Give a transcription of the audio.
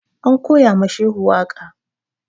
An koya ma Shehu waƙa